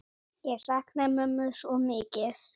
Ég sakna mömmu svo mikið.